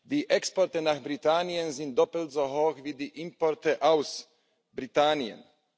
Die Exporte nach Großbritannien sind doppelt so hoch wie die Importe aus Großbritannien.